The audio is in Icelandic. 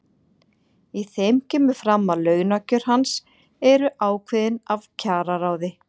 Í þeim kemur fram að launakjör hans eru ákveðin af kjararáði.